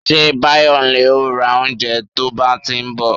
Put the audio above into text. Ṣé bayonle ó ra oúnjẹ to bá ti ń bọ̀